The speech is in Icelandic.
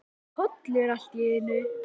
Þá birtist Kolur allt í einu.